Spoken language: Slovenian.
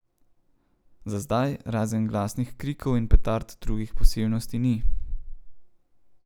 Za zdaj, razen glasnih krikov in petard, drugih posebnosti ni.